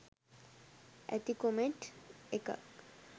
ඇති කොමෙන්ට් එකක්.